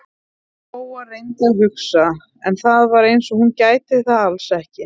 Lóa-Lóa reyndi að hugsa, en það var eins og hún gæti það alls ekki.